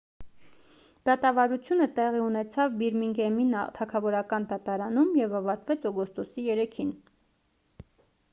դատավարությունը տեղի ունեցավ բիրմինգհեմի թագավորական դատարանում և ավարտվեց օգոստոսի 3-ին